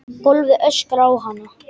Gólfið öskrar á hana.